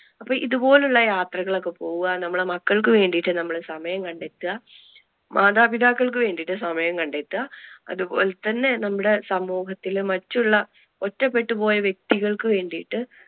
അപ്പൊ ഇതുപോലുള്ള യാത്രകൾ ഒക്കെ പോവുക. നമ്മളുടെ മക്കൾക്ക് വേണ്ടിട്ട് നമ്മൾ സമയം കണ്ടെത്ത. മാതാപിതാക്കൾക്ക് വേണ്ടിട്ട് സമയം കണ്ടെത്തുക, അതുപോലെ തന്നെ നമ്മുടെ സമൂഹത്തില് മറ്റുള്ള ഒറ്റപ്പെട്ടു പോയ വ്യക്തികൾക്ക് വേണ്ടിട്ട്